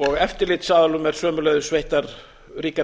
eftirlitsaðilum eru sömuleiðis veittar ríkar